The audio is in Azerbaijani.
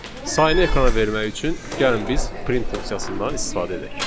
Sayını ekrana vermək üçün gəlin biz print funksiyasından istifadə edək.